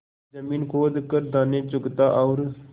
जमीन खोद कर दाने चुगता और